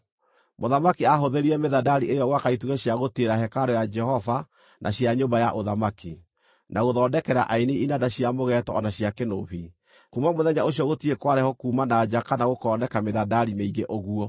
Mũthamaki aahũthĩrire mĩthandari ĩyo gwaka itugĩ cia gũtiirĩrĩra hekarũ ya Jehova na cia nyũmba ya ũthamaki, na gũthondekera aini inanda cia mũgeeto o na cia kĩnũbi. Kuuma mũthenya ũcio gũtirĩ kwarehwo kuuma na nja kana gũkooneka mĩthandari mĩingĩ ũguo.)